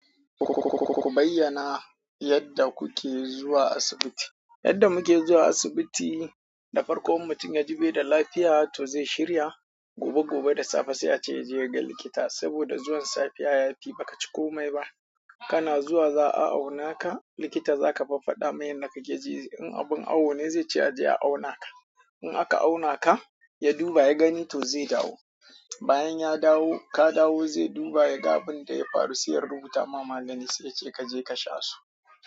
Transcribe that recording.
Ku bayyana yadda kuke zuwa asibiti. Yadda muke zuwa asibiti, da farko in mutum ya ji bai da lafiya to zai shirya. Ko gobe da safe sai a ce yaje ya gan likita saboda zuwa safiya ya fi. Baka ci komai ba kana zuwa za a auna ka, likita zaka fa faɗa mai yanda kake ji. In abun awo ne zai ce a je a auna ka In aka auna ka, ya duba ya gani to zai dawo. Bayan ya dawo, ka dawo zai duba ya ga abin da ya faru sai ya rubuta ma magani sai ya ce kaje kasha su.